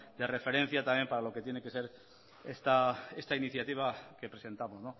de referencia también para lo que tiene que ser esta iniciativa que presentamos